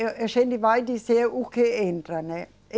E a gente vai dizer o que entra, né?